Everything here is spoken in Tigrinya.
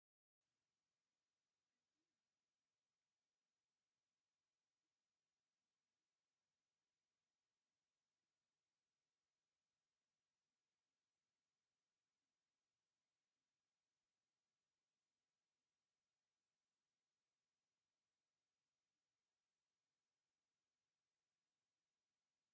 ኣዝዩ ምልኩዕ ጸሊም ክዳን ዝለበሰት ጓል ኣንስተይቲ፡ ብዝተፈላለየ ሕብራዊ ዝተጠለፈ ተኸዲና ትረአ። እታ ሰበይቲ ገለልተኛ ሕብርን ጸሊም ጸሓይን ኣለዋ። እዚ ድማ ነቲ ባህላዊ ጽባቐ ዝገልጽን ነታ ጓል ኣንስተይቲ ዝተፈላለየ ፅባቐን ዝህባን እዩ።